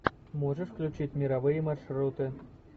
можешь включить мировые маршруты